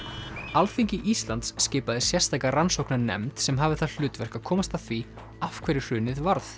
Alþingi Íslands skipaði sérstaka rannsóknarnefnd sem hafði það hlutverk að komast að því af hverju hrunið varð